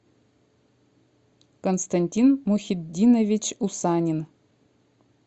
константин мухиддинович усанин